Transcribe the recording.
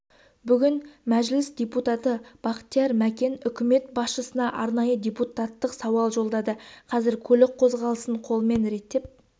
бүгін мәжіліс депутаты бақтияр мәкен үкімет басшысына арнайы депутаттық сауал жолдады қазір көлік қозғалысын қолмен реттеп